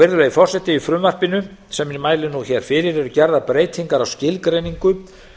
virðulegi forseti í frumvarpinu sem ég mæli fyrir eru gerðar breytingar á skilgreiningu